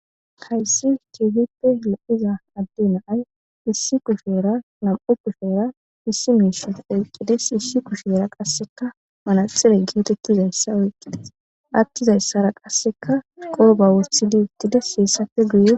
Hayssi kifippe leiza adde naay issi kushera nam7u kushera issi miishana oqqedes hissi kusheera qasseka manaxile geetekkizayssa oyqqides attizayssara qasseka qooba wothidiittidesheessapfe guy